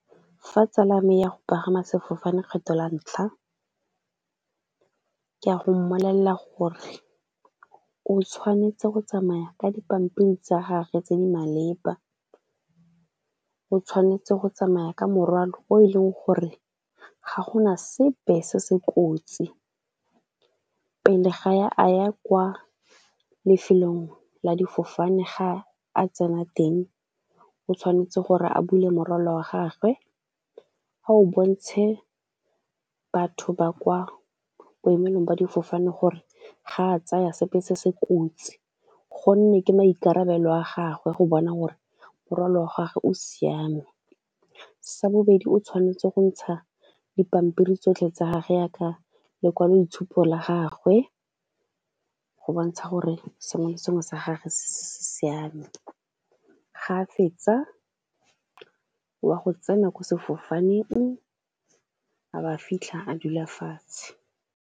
Fa tsala ya me ya go pagama sefofane kgetlho la ntlha, ke a go mmolelela gore o tshwanetse go tsamaya ka dipampiri tsa gagwe tse di maleba, o tshwanetse go tsamaya ka morwalo o e leng gore ga go na sepe se se kotsi, pele ga ya a ya kwa lefelong la difofane ga a tsena teng o tshwanetse gore a bule morwalo wa gagwe, a o bontshe batho ba kwa boemelong jwa difofane gore ga a tsaya sepe se se kotsi, gonne ke maikarabelo a gagwe go bona gore morwalo wa gagwe o siame. Sa bobedi o tshwanetse go ntsha dipampiri tsotlhe tsa gagwe jaaka lekwaloitshupo la gagwe go bontsha gore sengwe le sengwe sa gagwe se siame, ga a fetsa wa go tsena ko sefofaneng a ba fitlha a dula fatshe.